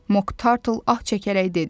Mok Tartıl ah çəkərək dedi.